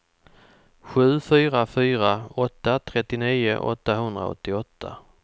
sju fyra fyra åtta trettionio åttahundraåttioåtta